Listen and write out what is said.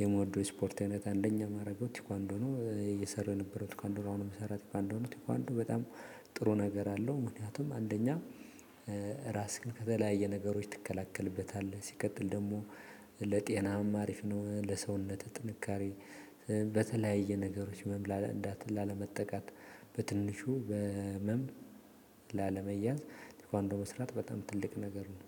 የምወደው ስፖርት አይነት አንደኛ ማረገው ቴኳንዶነው። እየሰራሁ የነበረው ቴኳንዶነው አሁን የምሰራው እንደሆኑ እንደሆኑ በጣም ጥሩ ነገር አለው። ምክንያቱም አንደኛ ራስህን ከተለያየ ነገሮች ትከለከልበታለህ ሲቀጥል ደግሞ ለጤናም አሪፍ ነው። ለሰውነትህ ጥንካሬ በተለያየ ነገሮች መምላል እንዳትል ላለመጠቃት በትንሹ በህመም ላለመያዝ ቴኳንዶ መስራት በጣም ትልቅ ነገር ነው